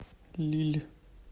лилль